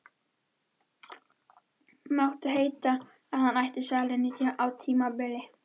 Mátti heita að hann ætti salinn á tímabili.